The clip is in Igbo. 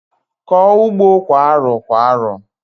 Kọọ ugbo kwa arọ kwa arọ!